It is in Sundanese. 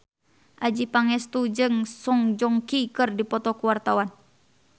Adjie Pangestu jeung Song Joong Ki keur dipoto ku wartawan